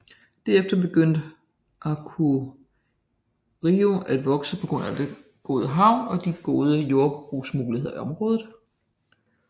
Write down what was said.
Derefter begyndte Akureyri at vokse på grund af den gode havn og de gode jordbrugsmuligheder i området